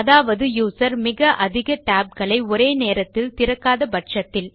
அதாவது யூசர் மிக அதிக tab களை ஒரே நேரத்தில் திறக்காத பட்சத்தில்